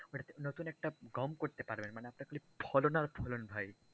ওইটাতে নতুন একটা গম করতে পারবেন, মানে আপনার ফলন আর ফলন ভাই।